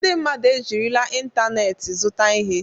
Ndị mmadụ ejirila ịntanetị zụta ihe.